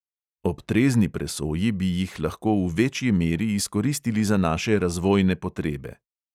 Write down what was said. Ob trezni presoji bi jih lahko v večji meri izkoristili za naše razvojne potrebe.